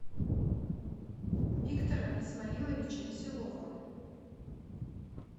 виктора исмаиловича веселова